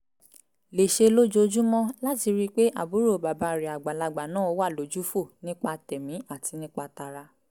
lè ṣe lójoojúmọ́ láti rí i pé àbúrò bàbá rẹ̀ àgbàlagbà náà wà lójúfò nípa tẹ̀mí àti nípa tara